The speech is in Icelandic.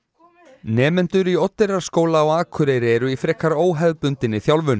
nemendur í Oddeyrarskóla á Akureyri eru í frekar óhefðbundinni þjálfun